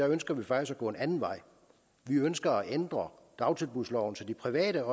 ønsker vi faktisk at gå en anden vej vi ønsker at ændre dagtilbudsloven så de private